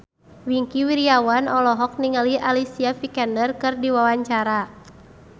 Wingky Wiryawan olohok ningali Alicia Vikander keur diwawancara